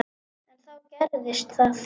En þá gerðist það.